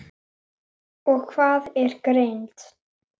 Lofstír hans stendur um eilífð.